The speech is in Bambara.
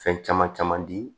Fɛn caman caman di